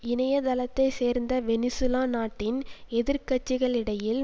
இணைய தளத்தை சேர்ந்த வெனிசூலா நாட்டின் எதிர்கட்சிகளிடையில்